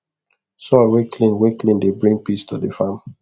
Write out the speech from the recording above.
soil wey clean wey clean dey bring peace to the farm